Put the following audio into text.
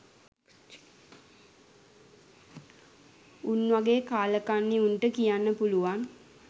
උන් වගේ කාලකන්නි උන්ට කියන්න පුළුවන්